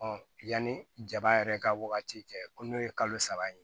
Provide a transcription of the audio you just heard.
yanni jaba yɛrɛ ka wagati cɛ ko n'o ye kalo saba ye